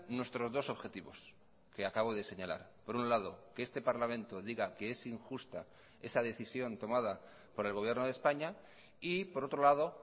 nuestros dos objetivos que acabo de señalar por un lado que este parlamento diga que es injusta esa decisión tomada por el gobierno de españa y por otro lado